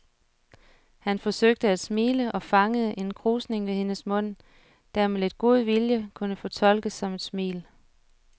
Han forsøgte at smile og fangede en krusning ved hendes mund, der med lidt god vilje kunne fortolkes som et smil.